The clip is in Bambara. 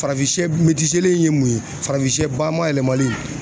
Farafin shɛ in ye mun ye, farafin shɛ ba mayɛlɛmali.